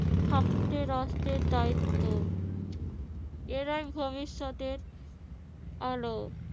থাকতে রাষ্ট্রের দ্বায়িত্ব এরাই ভবিষ্যতের আলো।